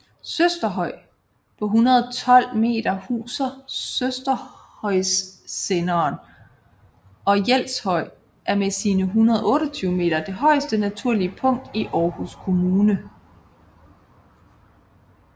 Søsterhøj på 112 m huser Søsterhøjsenderen og Jelshøj er med sine 128 m det højeste naturlige punkt i Aarhus Kommune